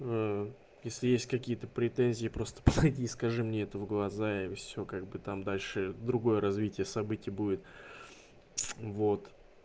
если есть какие-то претензии просто подойди скажи мне это в глаза и все как бы там дальше другое развитие событий будет вот